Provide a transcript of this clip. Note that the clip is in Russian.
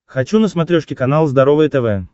хочу на смотрешке канал здоровое тв